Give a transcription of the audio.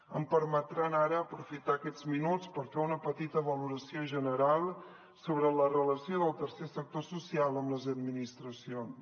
em permetran ara aprofitar aquests minuts per fer una petita valoració general sobre la relació del tercer sector social amb les administracions